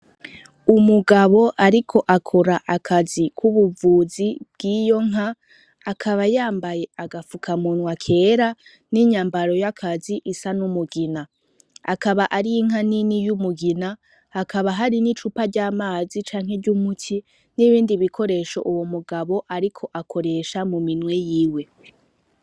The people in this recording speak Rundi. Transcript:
Umugabo ariko akora akazi k'ubuvuzi bw'iyo nka akaba yambaye agafukamunwa kera, n'inyambaro y'akazi isa n'umugina. Akaba ari inka nini y'umugina hakaba hari n'icupa ry'amazi canke ry'umuti n'ibindi bikoresho uwo mugabo ariko akoresha mu ninwe yiwe.